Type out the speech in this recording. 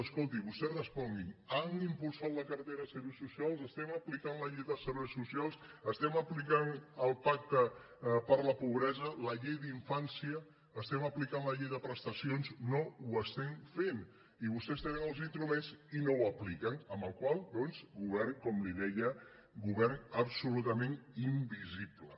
escolti vostès responguin han impulsat la cartera de serveis socials apliquem la llei de serveis socials apliquem el pacte contra la pobresa la llei d’infància apliquem la llei de prestacions no ho fem i vostès tenen els instruments i no ho apliquen amb la qual cosa doncs com li deia govern absolutament invisible